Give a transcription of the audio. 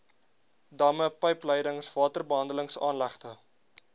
damme pypleidings waterbehandelingsaanlegte